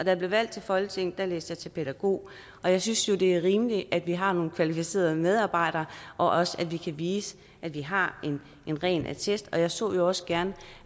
jeg blev valgt til folketinget læste jeg til pædagog jeg synes jo at det er rimeligt at vi har nogle kvalificerede medarbejdere og også at vi kan vise at vi har en ren attest jeg så jo også gerne